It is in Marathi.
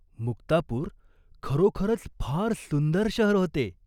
मुक्तापूर खरोखरच फार सुंदर शहर होते.